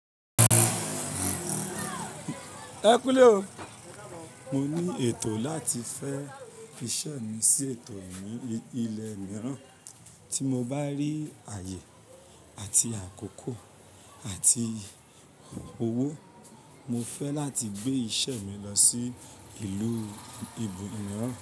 Mo ní ètò láti fẹ́ fi iṣẹ́ mi sí ètò mi ilẹ̀ mìíràn tí mo bá rí ààyè àti àkókò àti owó. Mo fẹ́ láti gbé iṣẹ́ mi lọ sí ìlú ibòmíràn.